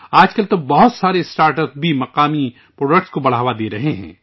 آج کل، بہت سے اسٹارٹ اپ بھی مقامی مصنوعات کو فروغ دے رہے ہیں